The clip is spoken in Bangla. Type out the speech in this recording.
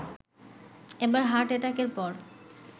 এবার হার্ট এটাকের পর